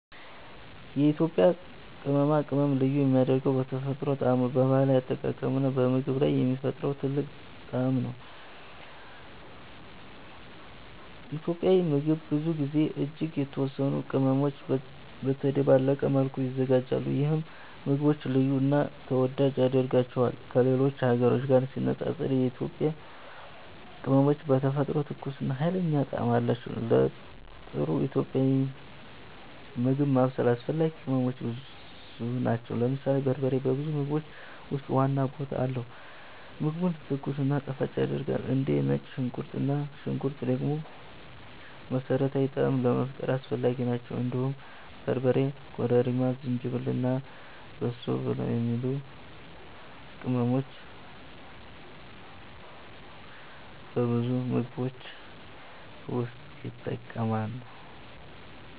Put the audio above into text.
የኢትዮጵያ ቅመማ ቅመም ልዩ የሚያደርገው በተፈጥሮ ጣዕሙ፣ በባህላዊ አጠቃቀሙ እና በምግብ ላይ የሚፈጥረው ጥልቅ ጣዕም ነው። ኢትዮጵያዊ ምግብ ብዙ ጊዜ እጅግ የተወሰኑ ቅመሞች በተደባለቀ መልኩ ይዘጋጃሉ፣ ይህም ምግቡን ልዩ እና ተወዳጅ ያደርገዋል። ከሌሎች ሀገሮች ጋር ሲነጻጸር የኢትዮጵያ ቅመሞች በተፈጥሮ ትኩስ እና ኃይለኛ ጣዕም አላቸው። ለጥሩ ኢትዮጵያዊ ምግብ ማብሰል አስፈላጊ ቅመሞች ብዙ ናቸው። ለምሳሌ በርበሬ በብዙ ምግቦች ውስጥ ዋና ቦታ አለው፣ ምግቡን ትኩስ እና ጣፋጭ ያደርጋል። እንደ ነጭ ሽንኩርት እና ሽንኩርት ደግሞ መሠረታዊ ጣዕም ለመፍጠር አስፈላጊ ናቸው። እንዲሁም በርበሬ፣ ኮረሪማ፣ ዝንጅብል እና በሶ ብላ የሚባሉ ቅመሞች በብዙ ምግቦች ውስጥ ይጠቀማሉ።